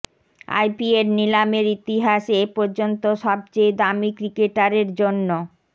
IPL নিলামের ইতিহাসে এ পর্যন্ত সবচেয়ে দামি ক্রিকেটারের জন্য